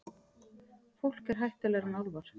Fólk er hættulegra en álfar.